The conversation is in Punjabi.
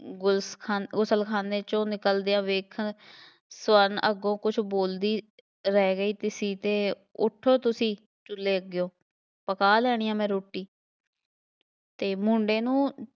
ਗੁਲਸਖਾ~ ਗੁਸਲਖਾਨੇ 'ਚੋਂ ਨਿਕਲਦਿਆਂ ਵੇਖਣ, ਸਵਰਨ ਅੱਗੋਂ ਕੁੱਝ ਬੋਲਦੀ ਰਹਿ ਗਈ ਸੀ ਅਤੇ ਉੱਠੋਂ ਤੁਸੀਂ ਚੁੱਲ੍ਹੇ ਅੱਗਿਓਂ, ਪਕਾ ਲੈਂਦੀ ਹਾਂ ਮੈਂ ਰੋਟੀ ਅਤੇ ਮੁੰਡੇ ਨੂੰ